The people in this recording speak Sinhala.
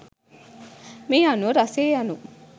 මේ අනුව රසය යනු